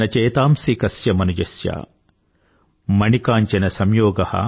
న చేతాంసీ కస్య మనుజస్య